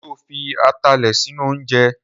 Sọ fi atalẹ̀ sínú oúnjẹ?